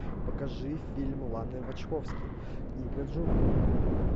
покажи фильм ланы вачовски книга джунглей